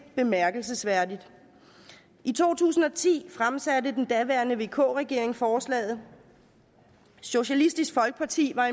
bemærkelsesværdigt i to tusind og ti fremsatte den daværende vk regering forslaget socialistisk folkeparti var